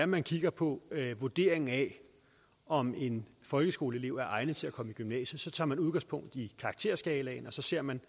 man kigger på vurderingen af om en folkeskoleelev er egnet til at komme i gymnasiet tager man udgangspunkt i karakterskalaen og så ser man